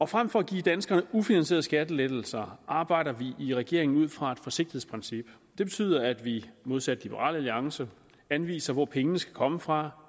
frem for at give danskerne ufinansierede skattelettelser arbejder vi i regeringen ud fra et forsigtighedsprincip det betyder at vi modsat liberal alliance anviser hvor pengene skal komme fra